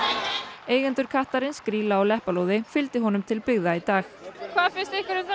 eigendur kattarins Grýla og Leppalúði fylgdu honum til byggða í dag hvað finnst ykkur um þennan